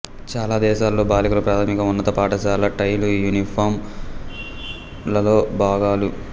చాలా దేశాలలో బాలికలు ప్రాథమిక ఉన్నత పాఠశాలలో టైలు యూనిఫారం లలో భాగాలు